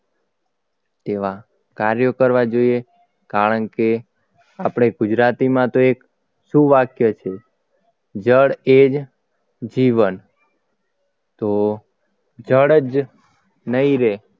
તેવા કાર્યો કરવા જોઈએ કારણકે આપણે ગુજરાતીમાં તો એક સુ વાક્ય છે જળ એ જ જીવન તો જળ જ નહીં રહે